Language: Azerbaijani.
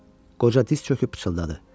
Qoca diz çöküb pıçıldadı.